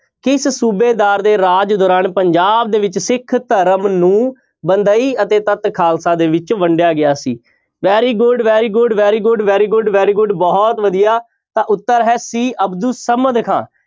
ਕਿਸ ਸੂਬੇਦਾਰ ਦੇ ਰਾਜ ਦੌਰਾਨ ਪੰਜਾਬ ਦੇ ਵਿੱਚ ਸਿੱਖ ਧਰਮ ਨੂੰ ਬੰਦਈ ਅਤੇ ਤੱਤ ਖਾਲਸਾ ਦੇ ਵਿੱਚ ਵੰਡਿਆ ਗਿਆ ਸੀ very good, very good, very good, very good, very good ਬਹੁਤ ਵਧੀਆ ਤਾਂ ਉੱਤਰ ਹੈ c ਅਬਦੁਲ ਸਮਦ ਖਾਂ।